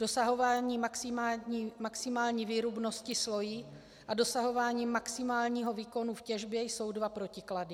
Dosahování maximální výrubnosti slojí a dosahování maximálního výkonu v těžbě jsou dva protiklady.